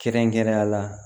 Kɛrɛnkɛrɛnnenya la